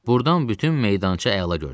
Buradan bütün meydança əla görünürdü.